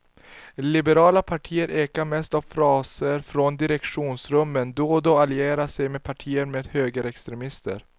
Liberala partier ekar mest av fraser från direktionsrummen, då och då allierar sig partierna med högerextremister.